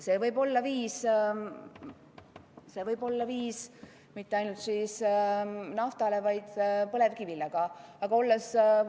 See võib olla sobiv viis mitte ainult nafta, vaid ka põlevkivi puhul.